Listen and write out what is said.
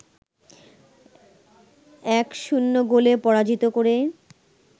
১-০ গোলে পরাজিত করে